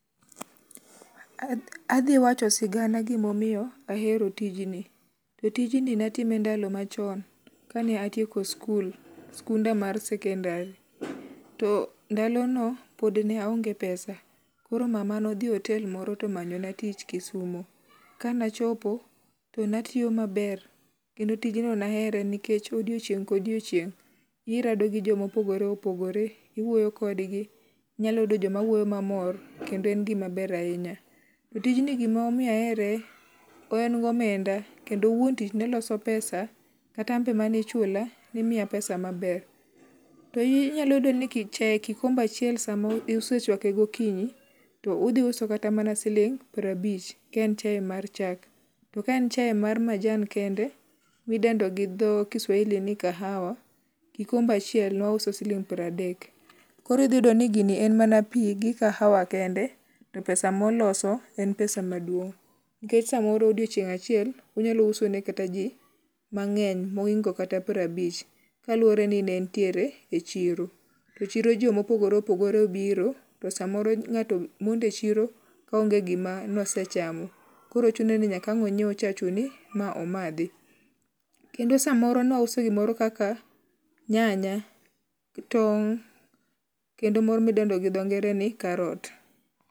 Adhi wacho sigana gimomiyo ahero tijni. E tijni natime ndalo machon kane atieko skul. Skunda mar sekondari. To ndalono pod ne aonge pesa koro mama nodhi otel moro tomanyona tich Kisumu. Kanachopo, tonatiyo maber kendo tijno nahere nikech odiochieng' kodiochieng' irado gi jo mopogore opogore. Iwuoyo kodgi. Inyalo yudo joma wuoyo mamor kendo en gima ber ahinya. To tijni gimomiyo ahere en gomenda kendo wuon tich neloso pesa. Kata anbe manichula nimiya pesa maber. To inyalo yudo ni chae kikombe achiel samoro isechwake gokinyi to udhi uso kata mana siling' piero abich ka en chae mar chak. To ka en chae mar majan kende, midendo gi dho kiswahili ni kahawa kikombe achiel ne wauso siling' pradek. Koro idhi iyudo ni gini en mana pi gi kahawa kende to pesa moloso en pesa maduong'. Nikech samoro odiochieng' achiel unyalo uso ne kata ji mang'eny mohingo kata prabich. Kaluwore ni ne entiere e chiro. To chiro jomopogore opogore biro to samoro ng'ato mondechiro ka o onge gima nosechamo. Koro chuno ni nyaka ang' onyiew chachuni ma omadhi. Kendo samoro ne wauso gimoro kaka nyanya to kendo moro modendo gi dho ngere ni Carrot.